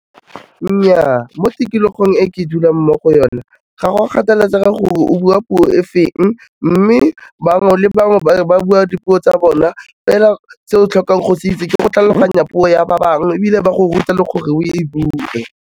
Nnyaa, mo tikologong e ke dulang mo go o na ga go kgathaletsege gore o bua puo e feng mme bangwe le bangwe ba bua dipuo tsa bona fela se o tlhokang go se itse ke go tlhaloganya puo ya ba bangwe ebile ba go ruta le gore o e bue.